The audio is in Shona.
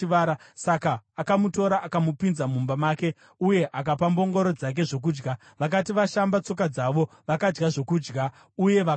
Saka akamutora akamupinza mumba make uye akapa mbongoro dzake zvokudya. Vakati vashamba tsoka dzavo, vakadya zvokudya uye vakanwa.